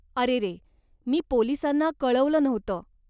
अरेरे, मी पोलिसांना कळवलं नव्हतं.